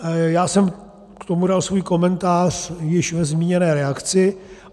Já jsem k tomu dal svůj komentář již ve zmíněné reakci.